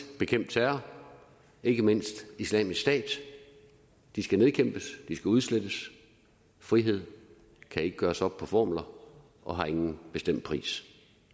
bekæmpe terror ikke mindst islamisk stat de skal nedkæmpes de skal udslettes frihed kan ikke gøres op på formler og har ingen bestemt pris